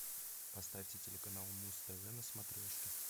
поставьте телеканал муз тв на смотрешке